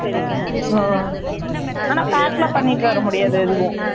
அ, ஆனா, Pack எல்லாம் பண்ணிட்டு வர முடியாது, எதுவும்